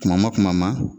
Kuma ma kuma ma